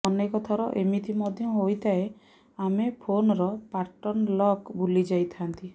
ଅନେକ ଥର ଏମିତି ମଧ୍ୟ ହୋଇଥାଏ ଆମେ ଫୋନର ପାର୍ଟନ ଲକ୍ ଭୁଲିଯାଇଥାନ୍ତି